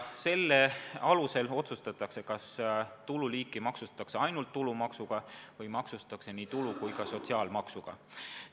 Selle alusel otsustatakse, kas tulu maksustatakse ainult tulumaksuga või nii tulu- kui ka sotsiaalmaksuga.